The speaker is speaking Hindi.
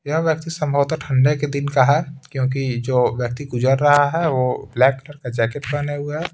यह व्यक्ति संभवत ठंडे के दिन का है क्योंकि जो व्यक्ति गुजर रहा है वो ब्लैक कलर का जैकेट पहने हुए हैं।